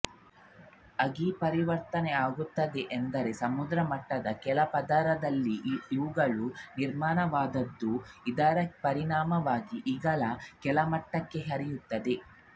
ಅಗಿ ಪರಿವರ್ತನೆಯಾಗುತ್ತದೆಅಂದರೆ ಸಮುದ್ರ ಮಟ್ಟದ ಕೆಳಪದರಿನಲ್ಲಿ ಇವುಗಳು ನಿರ್ಮಾಣವಾದದ್ದು ಇದರ ಪರಿಣಾಮವಾಗಿ ಇಂಗಾಲ ಕೆಳಮಟ್ಟಕ್ಕೆ ಹರಿಯುತ್ತದೆ